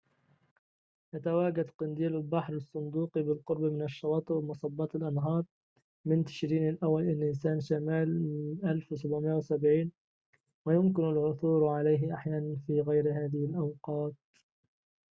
يتواجد قنديل البحر الصندوقي بالقرب من الشواطئ ومصبات الأنهار من تشرين الأول إلى نيسان شمال 1770 ويمكن العثور عليه أحياناً في غير هذه الأوقات